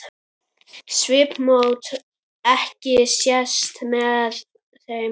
Svipmót ekki sést með þeim.